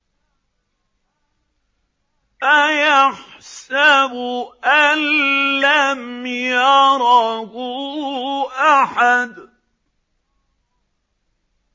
أَيَحْسَبُ أَن لَّمْ يَرَهُ أَحَدٌ